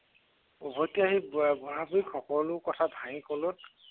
উভতি আহি বুঢ়-বুঢ়ীৰ সকলো ভাঙি ক'লত